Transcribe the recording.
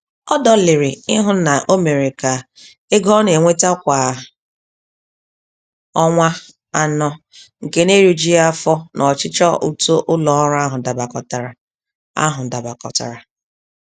Ọ dọlịrị ịhụ na o mere ka ego ọ na-enweta kwa ọnwa anọ nke na-erijughi afọ na ọchịchọ uto ụlọọrụ ahụ dabakọtara. ahụ dabakọtara.